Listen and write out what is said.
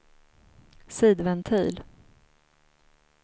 sidventil